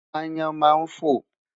Aáyán máa ń fò.